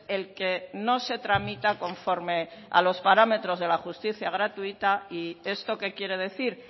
el que no se tramita conforme a los parámetros de la justicia gratuita y esto qué quiere decir